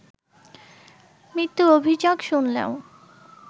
মৃত্যুর অভিযোগ শুনলেও